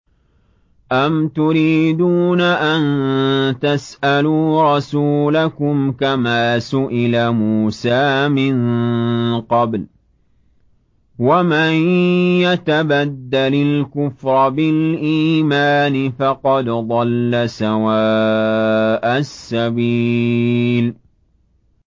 أَمْ تُرِيدُونَ أَن تَسْأَلُوا رَسُولَكُمْ كَمَا سُئِلَ مُوسَىٰ مِن قَبْلُ ۗ وَمَن يَتَبَدَّلِ الْكُفْرَ بِالْإِيمَانِ فَقَدْ ضَلَّ سَوَاءَ السَّبِيلِ